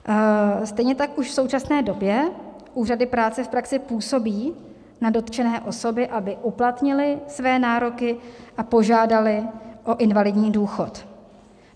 Stejně tak už v současné době úřady práce v praxi působí na dotčené osoby, aby uplatnily své nároky a požádaly o invalidní důchod.